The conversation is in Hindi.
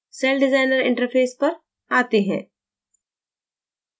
celldesigner interface पर जाते हैं